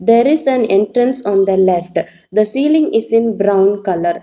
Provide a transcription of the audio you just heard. There is an entrance on the left the ceiling is in brown colour.